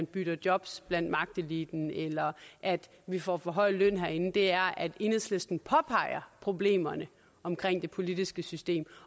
bytter jobs blandt magteliten eller at vi får for høj løn herinde det er at enhedslisten påpeger problemerne omkring det politiske system